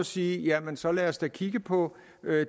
sige jamen så lad os da kigge på